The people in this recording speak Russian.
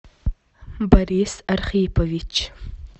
борис архипович